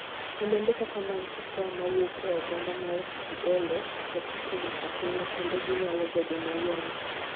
Olembe kaka mag cocoa ma wuok e oganda mar Criollo, ok otegno ahinya, kendo ginyalo bedo mayom.